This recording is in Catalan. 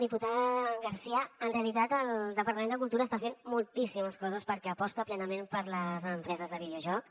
diputada garcia en realitat el departament de cultura està fent moltíssimes coses perquè aposta plenament per les empreses de videojocs